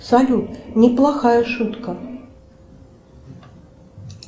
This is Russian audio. салют неплохая шутка